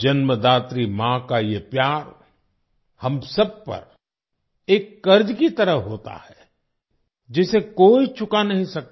जन्मदात्री माँ का ये प्यार हम सब पर एक कर्ज की तरह होता है जिसे कोई चुका नहीं सकता